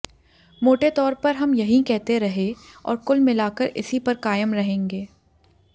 मोटे तौर पर हम यहीं कहते रहें और कुल मिलाकर इसी पर कायम रहेंगे